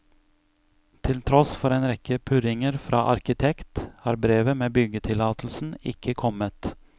Til tross for en rekke purringer fra arkitekt, har brevet med byggetillatelsen ikke kommet.